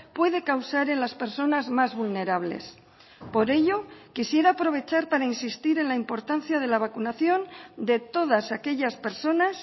puede causar en las personas más vulnerables por ello quisiera aprovechar para insistir en la importancia de la vacunación de todas aquellas personas